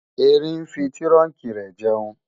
Erin ń fi tírùnkí rẹ̀ jẹun